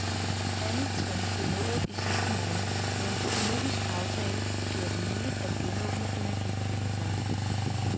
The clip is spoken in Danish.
Andet trin blev nået i sidste måned med en økonomisk aftale, der gjorde det muligt at genåbne energiforbindelserne.